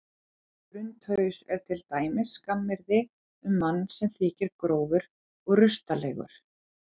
Drundhaus er til dæmis skammaryrði um mann sem þykir grófur og rustalegur.